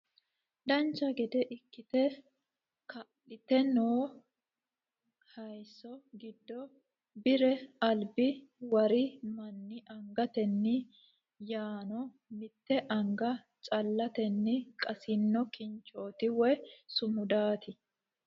Dancha gede ikkitte kalitte noo hayiisso giddo bire alibbi wari manni angateenni yaanno mitte anga calatenni qasinno kinchootti woy sumudaatti